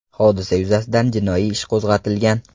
Hodisa yuzasidan jinoiy ish qo‘zg‘atilgan.